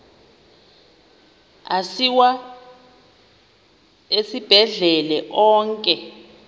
asiwa esibhedlele onke